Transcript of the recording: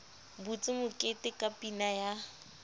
butse mokete ka pina ya